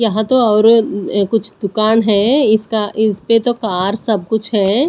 यहां तो और अ कुछ दुकान है इसका इसपे तो कार सब कुछ है।